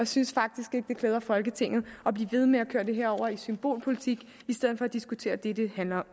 synes faktisk ikke det klæder folketinget at blive ved med at køre det her over i symbolpolitik i stedet for at diskutere det det handler